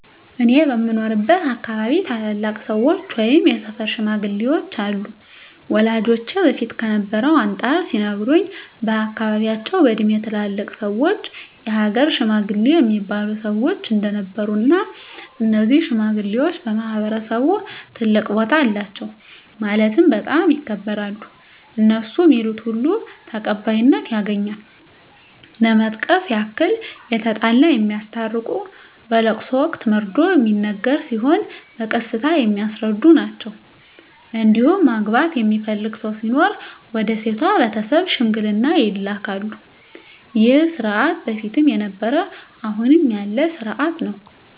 እኔ በምኖርበት አካባቢ ታላላቅ ሰዎች ወይም የሰፈር ሽማግሌዎች አሉ ወላጆቼ በፊት ከነበረው አንፃር ሲነግሩኝ በአካባቢያቸው በእድሜ ትላልቅ ሰዎች የሀገር ሽማግሌ እሚባሉ ሰዎች እንደነበሩ እና እነዚህ ሽማግሌዎች በማህበረሰቡ ትልቅ ቦታ አላቸው ማለትም በጣም ይከበራሉ እነሡ ሚሉት ሁሉ ተቀባይነት ያገኛል ለመጥቀስ ያክል የተጣላ የሚያስታርቁ በለቅሶ ወቅት መርዶ ሚነገር ሲሆን በቀስታ የሚያስረዱ ናቸዉ እንዲሁም ማግባት የሚፈልግ ሰው ሲኖር ወደ ሴቷ ቤተሰብ ሽምግልና ይላካሉ ይህ ስርዓት በፊትም ነበረ አሁንም ያለ ስርአት ነው።